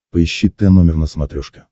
поищи тномер на смотрешке